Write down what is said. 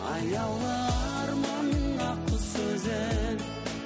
аяулы арманның ақ құсы өзің